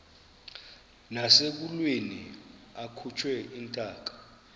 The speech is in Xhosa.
nasekulweni akhutshwe intaka